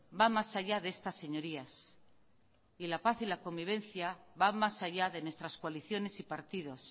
va más allá de estas señorías y la paz y la convivencia va mas allá de nuestras coaliciones y partidos